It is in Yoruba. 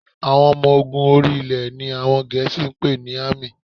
Àwọn ọmọ ogun orí-ilẹ̀ ni àwọn Gẹ̀ẹ́sì ń pè ní Army